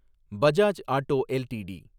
Bajaj auto LTD